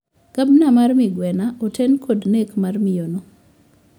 Gabna mar migwena oten kod nek mar miyo no